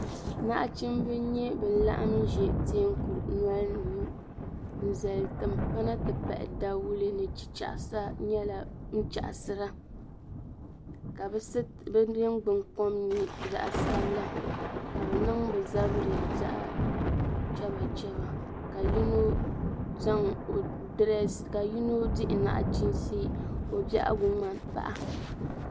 Naɣchimba n nye bin laɣim ʒi teeku nolini ŋɔ n zali timpana ti pahi dawule ni chichaɣisa nyɛla din chaɣisira ka be ningbun kɔm nye zaɣi sabila ka be niŋ be zabiri zaɣi chaba chaba ka yino di naɣchiinsi ka o bɛhigu ŋmani paɣa.